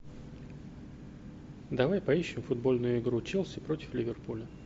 давай поищем футбольную игру челси против ливерпуля